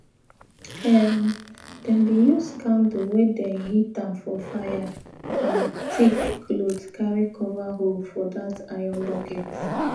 um them bin use candle wey dem heat um for fire and thick cloth carry cover hole for that iron bucket